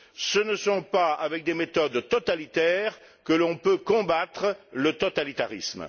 Ce n'est pas avec des méthodes totalitaires que l'on peut combattre le totalitarisme.